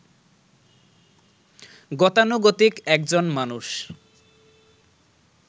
গতানুগতিক একজন মানুষ